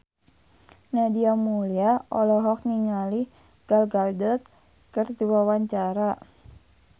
Nadia Mulya olohok ningali Gal Gadot keur diwawancara